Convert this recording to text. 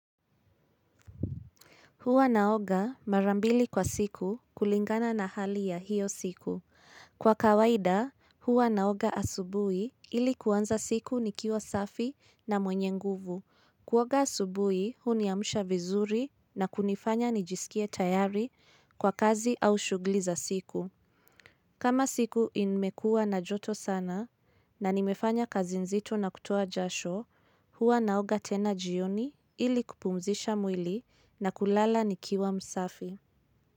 Huwa naoga mara mbili kwa siku kulingana na hali ya hiyo siku. Kwa kawaida, huwa naoga asubui ili kuanza siku nikiwa safi na mwenye nguvu. Kuoga asubuhi uniamsha vizuri na kunifanya nijisikie tayari kwa kazi au shugli za siku. Kama siku imekua na joto sana na nimefanya kazi nzito na kutoa jasho, hua naoga tena jioni ili kupumzisha mwili na kulala nikiwa msafi.